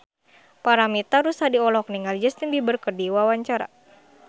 Paramitha Rusady olohok ningali Justin Beiber keur diwawancara